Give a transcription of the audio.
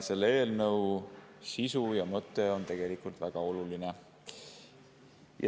Selle eelnõu sisu ja mõte on tegelikult väga oluline.